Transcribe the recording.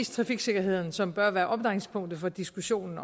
trafiksikkerheden som bør være omdrejningspunktet for diskussionen